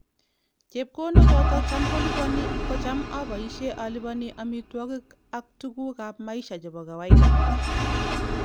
Chepkondok chotok Cham kolipani kocham apaishe alipani amituagik and tuguk ap maisha chepo kawaida.